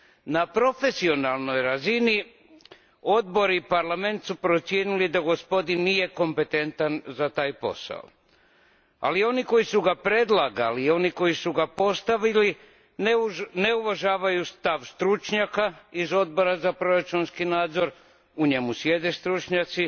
Na profesionalnoj razini, Odbor i Parlament su procijenili da gospodin nije kompetentan za taj posao, ali oni koji su ga predlagali i oni koji su ga postavili ne uvažavaju stav stručnjaka iz Odbora za proračunski nadzor u njemu sjede stručnjaci